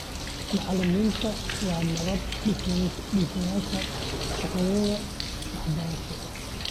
Macallimiinta waa nabad-dhisayaasha shaqadooda waxbarasho.